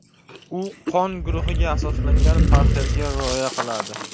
U qon guruhiga asoslangan parhezga rioya qiladi.